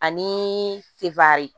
Ani fere